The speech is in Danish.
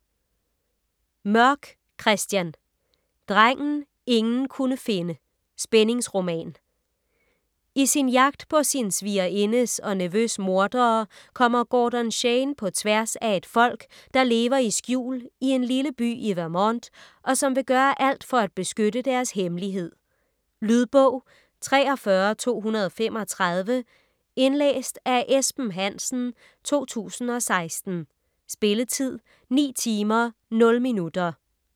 Mørk, Christian: Drengen ingen kunne finde: spændingsroman I sin jagt på sin svigerindes og nevøs mordere kommer Gordon Shane på tværs af et folk, der lever i skjul i en lille by i Vermont, og som vil gøre alt for at beskytte deres hemmelighed. Lydbog 43235 Indlæst af Esben Hansen, 2016. Spilletid: 9 timer, 0 minutter.